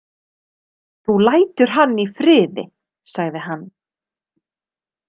Þú lætur hann í friði, sagði hann.